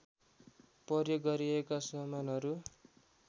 प्रयोग गरिएका समानहरू